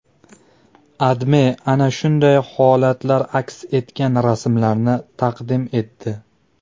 AdMe ana shunday holatlar aks etgan rasmlarni taqdim etdi.